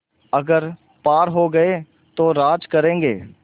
अगर पार हो गये तो राज करेंगे